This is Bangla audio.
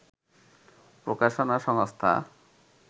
প্রকাশনা সংস্থা